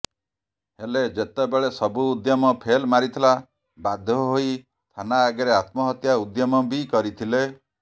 ହେଲେ ଯେତେବେଳେ ସବୁ ଉଦ୍ୟମ ଫେଲ ମାରିଥିଲା ବାଧ୍ୟ ହୋଇ ଥାନା ଆଗରେ ଆତ୍ମହତ୍ୟା ଉଦ୍ୟମ ବି କରିଥିଲେ